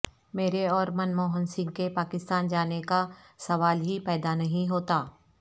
میرے اورمن موہن سنگھ کے پاکستان جانے کاسوال ہی پیدانہیں ہوتا